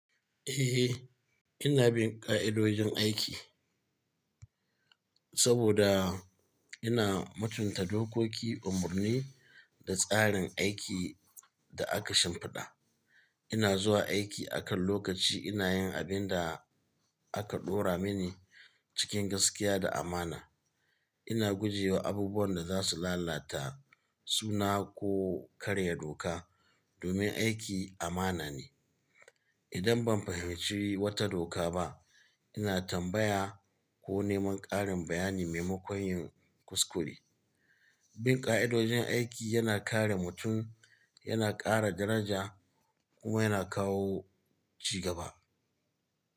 Eh, ina bin ƙa'idojin aiki saboda ina mu tunta dokoki, umarni da tsarin aiki da aka shimfiɗa. Ina zuwa aiki akan lokaci, ina yin abin da aka ɗora mini cikin gaskiya da amana. Ina gujewa abubuwan da za su lalata suna ko karya doka domin aiki amana ne. Idan ban fahimci wata doka ba, ina tambaya ko neman ƙarin bayani maimakon yin kuskure. Bin ƙa'idojin aiki yana kare mutum, yana ƙara daraja kuma yana kawo ci gaba.